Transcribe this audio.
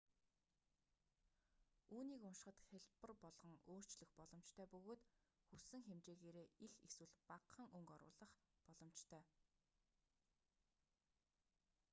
үүнийг уншихад хялбар болгон өөрчлөх боломжтой бөгөөд хүссэн хэмжээгээрээ их эсвэл багахан өнгө оруулах боломжтой